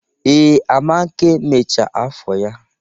Ee, Amake mechaa afọ ya